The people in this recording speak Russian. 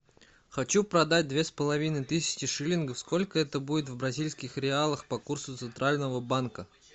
хочу продать две с половиной тысячи шиллингов сколько это будет в бразильских реалах по курсу центрального банка